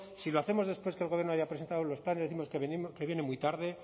si lo hacemos después que el gobierno haya presentado los planes décimos que vienen muy tarde